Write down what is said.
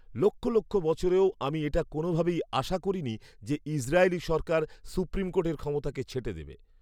লক্ষ লক্ষ বছরেও আমি এটা কোনওভাবেই আশা করিনি যে ইসরায়েলি সরকার সুপ্রিম কোর্টের ক্ষমতাকে ছেঁটে দেবে!